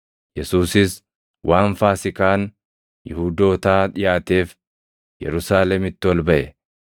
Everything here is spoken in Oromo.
Yesuusis waan Faasiikaan Yihuudootaa dhiʼaateef Yerusaalemitti ol baʼe.